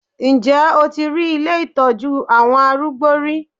Ǹjẹ́ o ti rí ilé ìtọ́jú àwọn arúgbó rí?